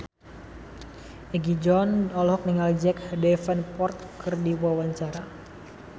Egi John olohok ningali Jack Davenport keur diwawancara